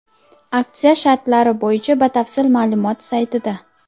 Aksiya shartlari bo‘yicha batafsil ma’lumot saytida.